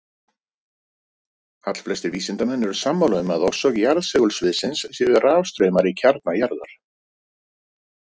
Allflestir vísindamenn eru sammála um að orsök jarðsegulsviðsins séu rafstraumar í kjarna jarðar.